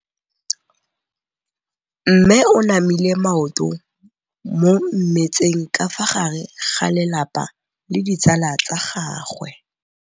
Mme o namile maoto mo mmetseng ka fa gare ga lelapa le ditsala tsa gagwe.